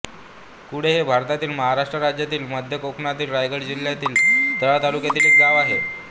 कुडे हे भारतातील महाराष्ट्र राज्यातील मध्य कोकणातील रायगड जिल्ह्यातील तळा तालुक्यातील एक गाव आहे